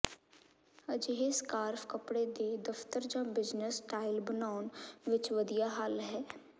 ਅਜਿਹੇ ਸਕਾਰਫ ਕੱਪੜੇ ਦੇ ਦਫਤਰ ਜਾਂ ਬਿਜਨਸ ਸਟਾਈਲ ਬਣਾਉਣ ਵਿਚ ਵਧੀਆ ਹੱਲ ਹੈ